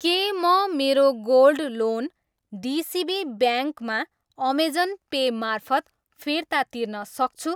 के म मेरो गोल्ड लोन डिसिबी ब्याङ् मा अमेजन पे मार्फत फिर्ता तिर्न सक्छु?